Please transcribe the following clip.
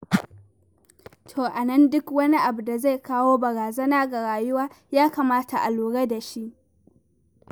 To a nan, duk wani abu da zai kawo barazana ga rayuwa, ya kamata a lura da shi.